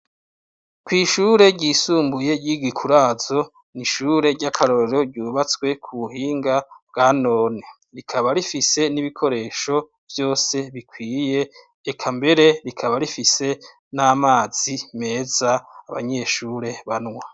Kw' ishure ryishimbuye ry' I Gikurazo, ni ishuri ryisumbuye ry' akarorero ryubatswe ku buhinga bwa none. rikaba rifise n' ibikoresho bukwiye, eka mbere rikaba rifise n' amazi abanyeshure banwa.